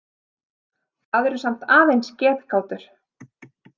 Það eru samt aðeins getgátur.